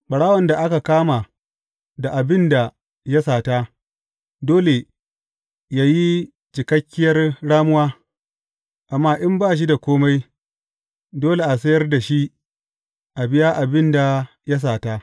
Ɓarawon da aka kama da abin da ya sata, dole yă yi cikakkiyar ramuwa, amma in ba shi da kome, dole a sayar da shi a biya abin da ya sata.